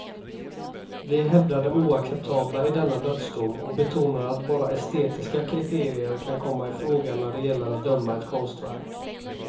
Vi hävdar det oacceptabla i denna dödsdom och betonar att bara estetiska kriterier kan komma i fråga när det gäller att döma ett konstverk.